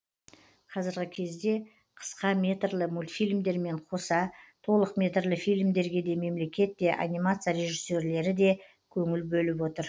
қазіргі кезде қысқа метрлі мультфильмдермен қоса толықметрлі фильмдерге де мемлекет те анимация режиссерлері де көңіл бөліп отыр